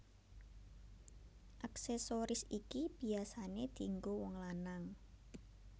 Aksesoris iki biyasané dienggo wong lanang